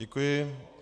Děkuji.